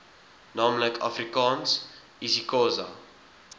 naamlik afrikaans isixhosa